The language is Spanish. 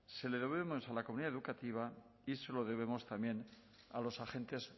se lo debemos a la comunidad educativa y se lo debemos también a los agentes